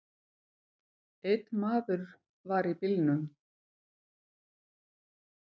Einn maður var í bílnum.